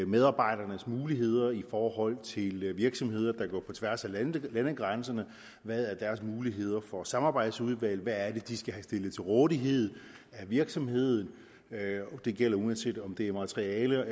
medarbejdernes muligheder egentlig er i forhold til virksomheder der går på tværs af landegrænserne hvad er deres muligheder for samarbejdsudvalg hvad er det de skal have stillet til rådighed af virksomheden og det gælder uanset om det er materiale og